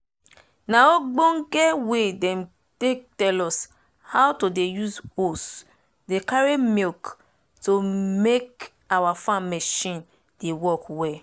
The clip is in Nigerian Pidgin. na obonge way dem take tell us how to dey use hose dey carry milk to make our farm marchin dey work well